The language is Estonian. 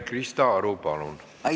Krista Aru, palun!